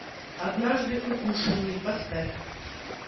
однажды укушенный поставь